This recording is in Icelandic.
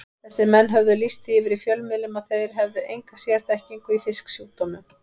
Þessir menn höfðu lýst því yfir í fjölmiðlum að þeir hefðu enga sérþekkingu í fisksjúkdómum.